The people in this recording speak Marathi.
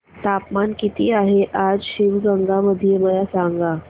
तापमान किती आहे आज शिवगंगा मध्ये मला सांगा